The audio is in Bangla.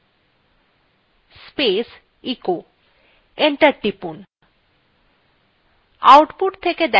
type space echo enter টিপুন